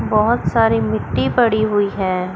बहोत सारी मिट्टी पड़ी हुई हैं।